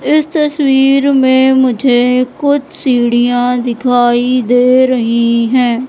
इस तस्वीर में मुझे कुछ सीढ़ियां दिखाई दे रही हैं।